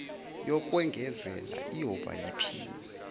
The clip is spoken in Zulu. yokwengezela iyoba yiphini